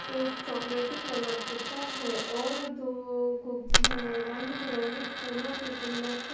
एक chocolaty colour होता है और दो गुब उम्म रंग भी रंगे फूलो के गुलदस्ते--